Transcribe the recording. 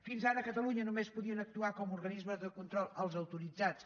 fins ara a catalunya només podien actuar com a organismes de control els autoritzats